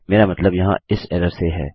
मेरा मतलब यहाँ इस एरर से है